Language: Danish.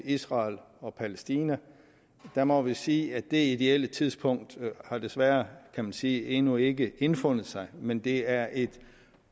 israel og palæstina der må vi sige at det ideelle tidspunkt desværre kan man sige endnu ikke indfundet sig men det er et